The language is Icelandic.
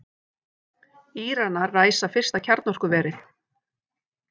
Íranar ræsa fyrsta kjarnorkuverið